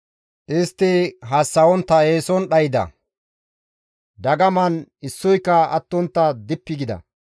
Istti hassa7ontta eeson dhayda; dagaman issoyka attontta dippi gida.